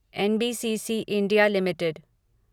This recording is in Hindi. NBCC India limited